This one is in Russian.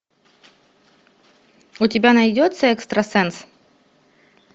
у тебя найдется экстрасенс